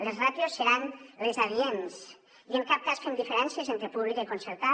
les ràtios seran les adients i en cap cas fem diferències entre pública i concertada